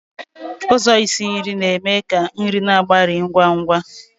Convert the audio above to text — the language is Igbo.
Ụzọ isi nri na-eme ka nri na-agbari ngwa ngwa.